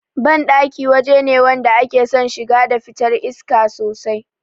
Banɗaki waje ne wanda ake son shiga da fitar iska sosai